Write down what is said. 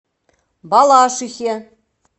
балашихе